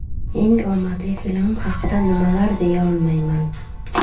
Eng omadli filmim haqida nimadir deya olmayman.